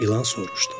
İlan soruşdu.